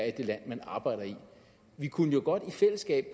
i det land man arbejder i vi kunne jo godt i fællesskab